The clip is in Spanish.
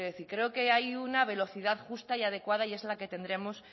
decir creo que hay una velocidad justa y adecuada y es la que tendremos